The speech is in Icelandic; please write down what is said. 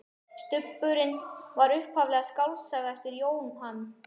Stubburinn var upphaflega skáldsaga eftir Jóhann